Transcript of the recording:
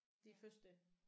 Det er første?